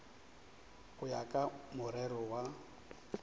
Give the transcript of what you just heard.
go ya ka morero wa